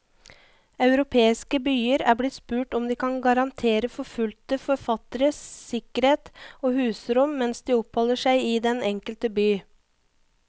Europeiske byer er blitt spurt om de kan garantere forfulgte forfattere sikkerhet og husrom mens de oppholder seg i den enkelte by.